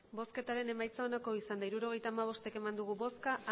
emandako botoak hirurogeita hamabost bai